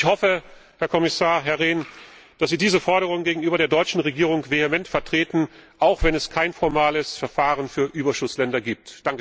Ich hoffe, Herr Kommissar Rehn, dass Sie diese Forderung gegenüber der deutschen Regierung vehement vertreten, auch wenn es kein formales Verfahren für Überschussländer gibt.